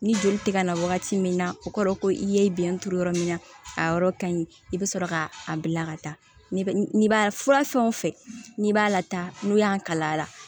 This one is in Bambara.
Ni joli tɛ ka na wagati min na o kɔrɔ ko i ye bɛn turu yɔrɔ min na a yɔrɔ ka ɲi i bɛ sɔrɔ ka a bila ka taa n'i b'a fura fɛn wo fɛn n'i b'a lata n'u y'an kala a la